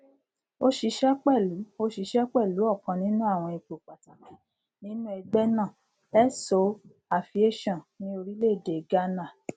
ó ṣiṣẹ pẹlú ó ṣiṣẹ pẹlú ọkan nínú àwọn ipò pàtàkì nínú ẹgbẹ náà so aviation ní orílẹèdè ghánà